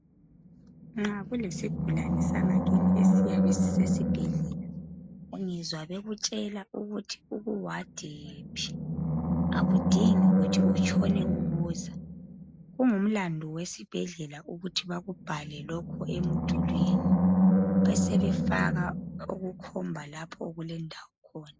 Nxa kulesigulani sangakini esiyabe sisesibhedlela ungezwa bekutshela ukuthi ukuward yiphi akudingi kuthi utshone ubuza kungumlandu wesibhedlela ukuthi bakubhale lokhu emdulwini besebefaka okukhomba lapho okulendawo khona.